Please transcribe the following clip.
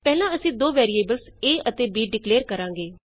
ਪਹਿਲਾਂ ਅਸੀਂ ਦੋ ਵੈਰੀਏਬਲਸ a ਅਤੇ b ਡਿਕਲੇਅਰ ਕਰਾਂਗੇ